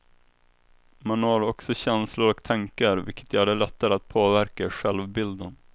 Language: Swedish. Man når också känslor och tankar, vilket gör det lättare att påverka självbilden.